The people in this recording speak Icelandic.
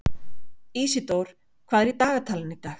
Ísidór, hvað er í dagatalinu í dag?